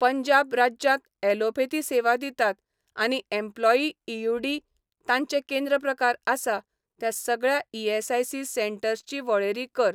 पंजाब राज्यांत ॲलोपथी सेवा दितात आनी एम्प्लॉयी ई.यू.डी. तांचें केंद्र प्रकारआसा त्या सगळ्या ईएसआयसी सेंटर्स ची वळेरी कर.